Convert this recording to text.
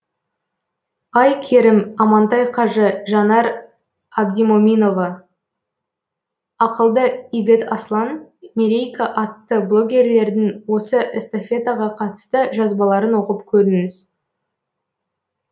ай керім амантай қажы жанар абдимоминова ақылды игіт аслан мерейка атты блогерлердің осы эстафетаға қатысты жазбаларын оқып көріңіз